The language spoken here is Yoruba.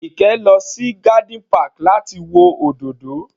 Ike lọ sí garden park láti wo òdòdó